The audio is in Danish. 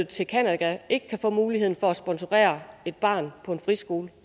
til canada ikke kan få mulighed for at sponsorere et barn på en friskole